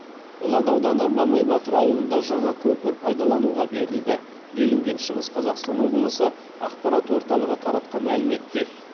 ұлан ауданы мамай батыр ауылында жаңа көпір пайдалануға берілді делінген шығыс қазақстан облысы ақпарат орталығы таратқан мәліметте